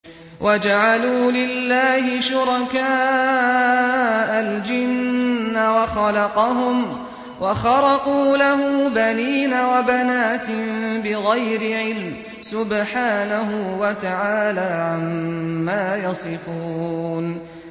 وَجَعَلُوا لِلَّهِ شُرَكَاءَ الْجِنَّ وَخَلَقَهُمْ ۖ وَخَرَقُوا لَهُ بَنِينَ وَبَنَاتٍ بِغَيْرِ عِلْمٍ ۚ سُبْحَانَهُ وَتَعَالَىٰ عَمَّا يَصِفُونَ